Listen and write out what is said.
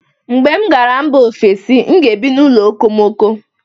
mgbe m gara mba ofesi, m ga-ebi n'ụlọ okomoko